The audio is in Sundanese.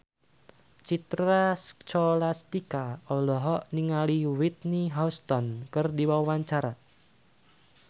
Citra Scholastika olohok ningali Whitney Houston keur diwawancara